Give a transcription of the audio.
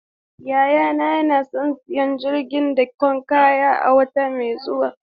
Yayana yana son siyan jirgin dakon kaya a wata mai zuwa.